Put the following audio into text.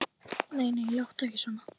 Nei, nei, láttu ekki svona.